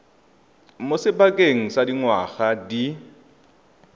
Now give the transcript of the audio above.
mo sebakeng sa dingwaga di